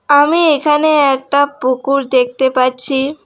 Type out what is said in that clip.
আমি এখানে একটা পুকুর দেখতে পাচ্ছি।